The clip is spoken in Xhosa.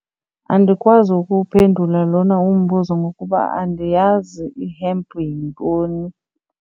Andikwazi ukuwuphendula lona umbuzo ngokuba andiyazi i-hemp yintoni.